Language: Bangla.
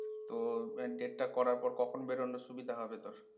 তো, date টা করার পর কখন বেরোনো সুবিধা হবে তোর?